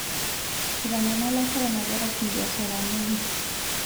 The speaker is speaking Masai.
Eitanyamala koronavirus mbiasharani aang'